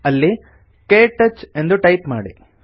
ಅಲ್ಲಿ ಕ್ಟಚ್ ಎಂದು ಟೈಪ್ ಮಾಡಿ